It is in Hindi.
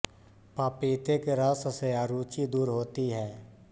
पपीते के रस से अरुची दूर होती है